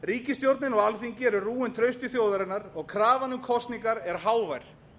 ríkisstjórnin og alþingi eru rúin trausti þjóðarinnar og krafan um kosningar er hávær